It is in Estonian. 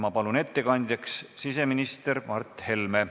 Ma palun ettekandjaks siseminister Mart Helme.